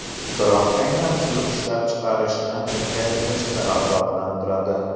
Biroq aynan shu ishlab chiqarishni kengaytirishni rag‘batlantiradi.